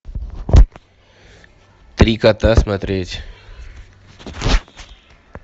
три кота смотреть